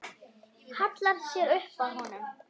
Hallar sér upp að honum.